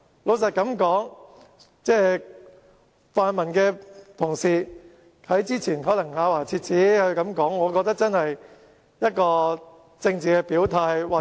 老實說，泛民同事之前說得咬牙切齒，我覺得可能是政治表態。